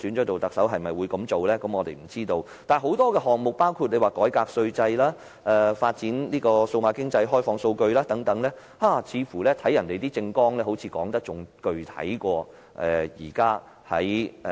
但是，他們的政綱的確談及很多措施，包括改革稅制、發展數碼經濟、開放數據等，似乎較今年的施政報告說得更具體。